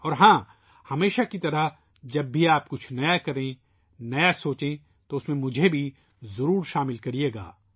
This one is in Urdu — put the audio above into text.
اور ہاں ، ہمیشہ کی طرح ، جب بھی آپ کچھ نیا کریں ، نیا سوچیں ، تو اس میں ، مجھے بھی شامل کریئے گا